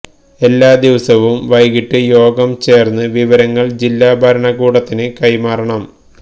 എല്ലാ ദിവസവും വൈകിട്ട് യോഗം ചേർന്ന് വിവരങ്ങൾ ജില്ലാ ഭരണകൂടത്തിന് കൈമാറണം